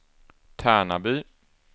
Tärnaby